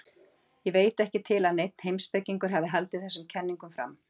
ég veit ekki til að neinn heimspekingur hafi haldið þessum kenningum fram